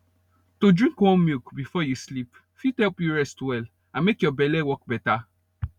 to drink warm milk before you sleep fit help you rest well and make your belle work better